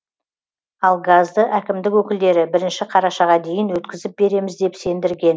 ал газды әкімдік өкілдері бірінші қарашаға дейін өткізіп береміз деп сендірген